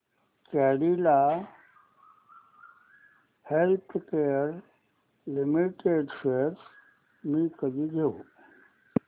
Cadila healthcare limited shares मी कधी घेऊ